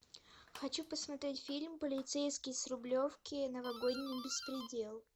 хочу посмотреть фильм полицейский с рублевки новогодний беспредел